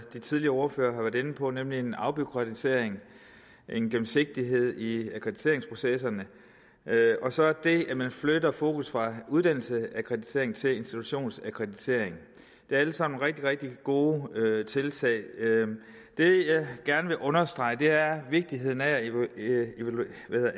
de tidligere ordførere har været inde på nemlig at vi får en afbureaukratisering af og en gennemsigtighed i akkrediteringsprocesserne og så det at man flytter fokus fra uddannelsesakkreditering til institutionsakkreditering det er alle sammen rigtig rigtig gode tiltag det jeg gerne vil understrege er vigtigheden af at